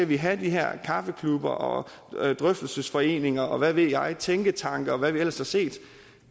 vi have de her kaffeklubber og drøftelsesforeninger og hvad ved jeg tænketanke og hvad vi ellers har set